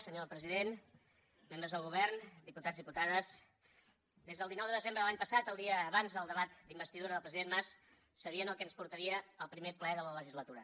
senyor president membres del govern diputats i diputades des del dinou de desembre de l’any passat el dia abans del debat d’investidura del president mas sabien el que ens portaria el primer ple de la legislatura